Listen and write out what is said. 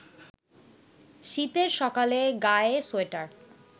শীতের সকালে গায়ে সোয়েটার